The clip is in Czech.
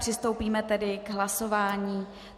Přistoupíme tedy k hlasování.